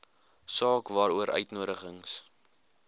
saak waaroor uitnodigings